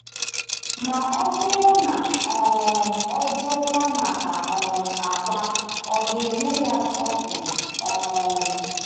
Ma ọ bụrụ na um ọ jụọkwa maka um àkwá, ò ga-enye ya scorpion? um